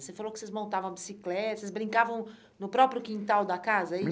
Você falou que vocês montavam bicicleta, vocês brincavam no próprio quintal da casa, é